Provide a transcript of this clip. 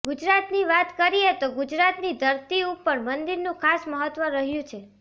ગુજરાતની વાત કરીએ તો ગુજરાતની ધરતી ઉપર મંદિરનું ખાસ મહત્ત્વ રહ્યું છે